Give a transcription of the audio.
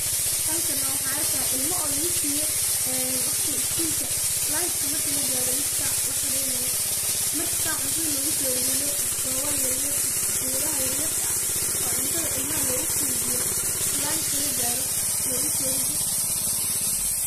Halkan neh waxaan arkayaa ilmo oo lagusiiye waqti iskulka lunch ka marka lagaaro lix sac laqadheynaye marka san cuntadha logusoridho koobal yaryar mise kibuya dhaha yaryarka ah oo cuntadha ilmaha loguqeybiyo marka lunch ka lagaaro loogusoridhi.